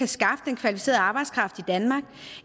skaffe den kvalificeret arbejdskraft i danmark